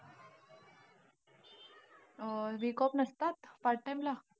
अं Week off नसतात part time ला?